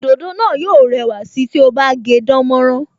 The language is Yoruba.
Òdòdó náà yó rẹwà sí ti o bá gé dánmọ́nrán